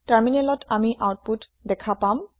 টাৰমিনেলত আমি আওতপুত দেখা পাম